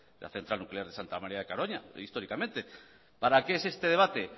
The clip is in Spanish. la central nuclear de santa maría de garoña históricamente para qué es este debate